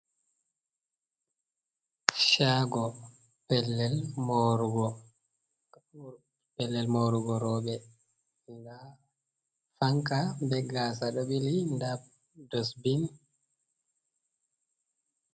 Shago pellel morugo roɓe, fanka be gasa ɗo ɓili nda dosbin.